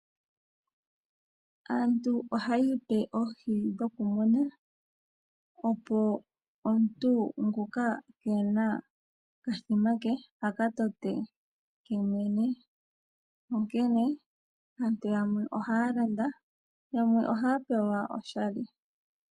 Aantu ohaya ipe oohi dhokumuna, opo omuntu ngoka ke ena okathima ke a ka tote yemwene. Onkene aantu yamwe ohaya landa yamwe ohaya pewa oshali.